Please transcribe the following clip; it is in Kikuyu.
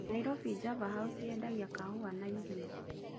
Nairobi Java House yendagia kahũa na irio.